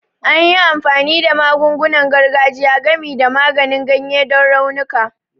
An yi amfani da magungunan gargajiya, gami da maganin ganye, don raunuka